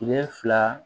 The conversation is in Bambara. Kile fila